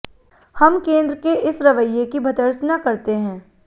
हम केंद्र के इस रवैये की भर्त्सना करते है